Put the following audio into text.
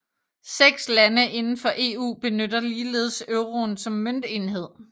Seks lande udenfor EU benytter ligeledes euroen som møntenhed